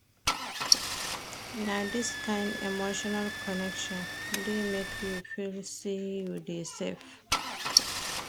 Na dis kain emotional connection dey make you feel sey you dey safe.